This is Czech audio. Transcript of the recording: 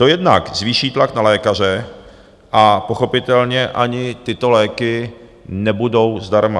To jednak zvýší tlak na lékaře a pochopitelně ani tyto léky nebudou zdarma.